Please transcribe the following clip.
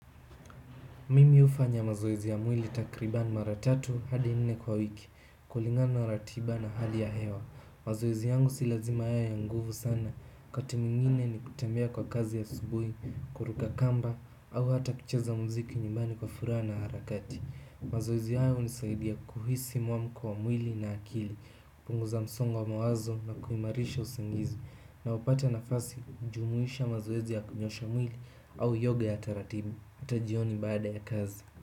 Mimi hufanya mazoezi ya mwili takribani mara tatu hadi nne kwa wiki kulingana na ratiba na hali ya hewa mazoezi yangu si lazima yawe ya nguvu sana wakati mwingine ni kutembea kwa kasi asubuhi, kuruka kamba au hata kucheza mziki nyumbani kwa furaha na harakati mazoezi haya hunisaidia kuhisi muamuko wa mwili na akili. Punguza msongo wa mawazo na kuimarisha usingizi. Naupata nafasi kujumuisha mazoezi ya kunyosha mwili au yoga ya taratibu hata jioni baada ya kazi.